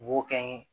U b'o kɛ n ye